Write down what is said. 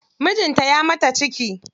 Mijinta ya maka ciki.